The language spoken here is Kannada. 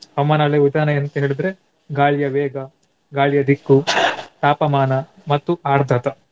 ಹವಾಮಾನ ಅಳೆಯುವ ವಿಧಾನ ಏನಂತ ಹೇಳಿದ್ರೆ ಗಾಳಿಯ ವೇಗ ಗಾಳಿಯ ದಿಕ್ಕು ತಾಪಮಾನ ಮತ್ತು ಆರ್ಧತ.